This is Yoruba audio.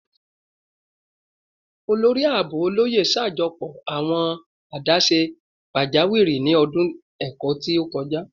Olori Aabo Oloye ṣajọpọ awọn adaṣe pajawiri ni ọdun ẹkọ ti o kọja